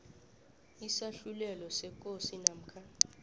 isahlulelo sekosi namkha